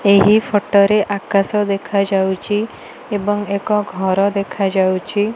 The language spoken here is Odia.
ଏହି ଫଟ ରେ ଆକାଶ ଦେଖା ଯାଉଛି। ଏବଂ ଏକ ଘର ଦେଖା ଯାଉଚି।